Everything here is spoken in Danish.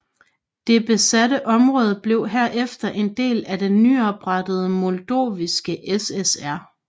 Det besatte område blev herefter en del af den nyoprettede Moldoviske SSR